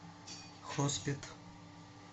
хоспет